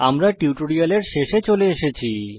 আমরা টিউটোরিয়ালের শেষে চলে এসেছি